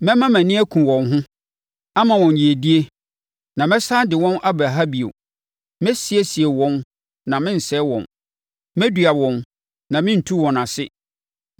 Mɛma mʼani aku wɔn ho, ama wɔn yiedie, na mɛsane de wɔn aba ha bio. Mɛsiesie wɔn na merensɛe wɔn. Mɛdua wɔn, na merentu wɔn ase.